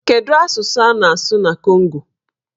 Kedụ asụsụ a na-asụ na Kongo?